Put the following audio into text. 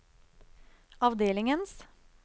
avdelingens